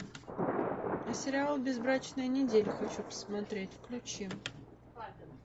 сериал безбрачная неделя хочу посмотреть включи